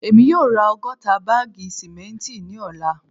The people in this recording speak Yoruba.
Emi yoo ra ọgọta baagi simenti ni ọla